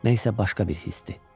Nə isə başqa bir hisdir.